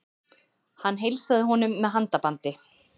Hann heilsaði honum með handabandi.